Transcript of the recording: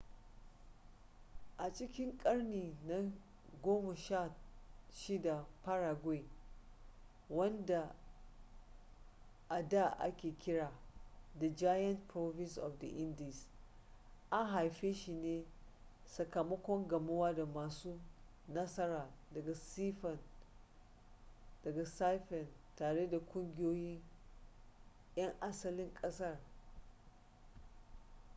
a cikin karni na 16 paraguay wanda a da ake kira the giant province of the indies an haife shi ne sakamakon gamuwa da masu nasara daga sifen tare da kungiyoyin 'yan asalin ƙasar